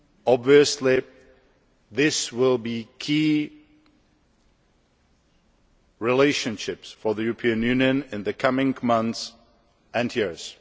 Obviously, these will be key relationships for the European Union in the coming months and years.